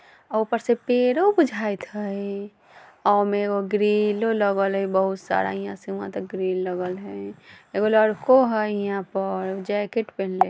अ ऊपर से पेड़ो बुझाएत हय ओय में एगो ग्रिलो लगल हय बहुत सारा हिंयां से हुआं तक ग्रिल लगल हय एगो लड़कों हय हियाँ पर उ जेकेट पेन्हले।